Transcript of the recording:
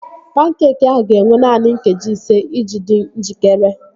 Pankeekị ahụ ga-ewe naanị nkeji ise iji dị njikere